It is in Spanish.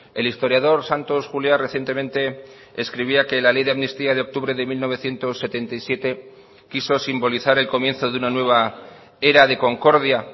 el historiador santos juliá recientemente escribía que la ley de amnistía de octubre de mil novecientos setenta y siete quiso simbolizar el comienzo de una nueva era de concordia